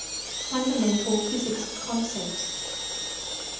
fundamental physics concepts